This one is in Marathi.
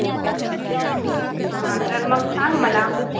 हा तर मग सांग मला.